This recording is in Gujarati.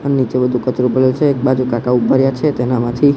અ નીચે બધું કચરો પડ્યો છે એક બાજુ કાકા ઉભા રયા છે તેના માંથી.